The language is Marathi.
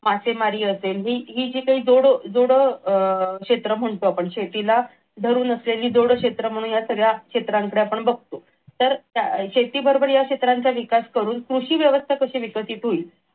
मासेमारी असेल हे जे काही जोड अह क्षेत्र म्हणतो आपण शेतीला धरून असलेली जोडक्षेत्र म्हणून आपण या सगळ्या क्षेत्रांकडे आपण बघतो तर शेतीबरोबर या क्षेत्रांचा विकास करून कृषी व्यवस्था कशी विकसित होईल